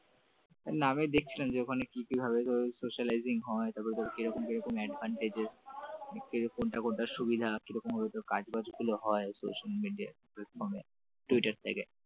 নামিয়ে দেখছিলাম যে ওখানে কি কি ভাবে সেলারিং হয় তারপর তোর কি রকম কি রকম advantage কিরকম সুবিধা কিরকম ভাবে কাজগুলো বাজগুলো হয় social media platform টুইটার থেকে।